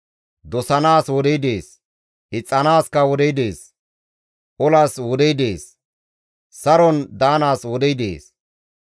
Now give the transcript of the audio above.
Dosanaas wodey dees; ixxanaaskka wodey dees. Olas wodey dees; saron daanaaskka wodey dees.